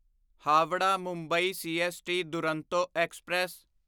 Howrah Mumbai CST Duronto express